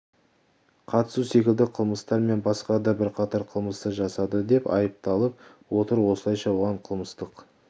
қатысу секілді қылмыстар мен басқа да бірқатар қылмысты жасады деп айыпталып отыр осылайша оған қылмыстық